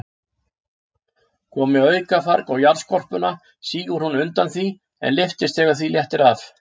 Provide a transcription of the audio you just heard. Komi aukafarg á jarðskorpuna, sígur hún undan því, en lyftist þegar því léttir af.